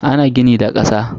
Ana gini da kasa.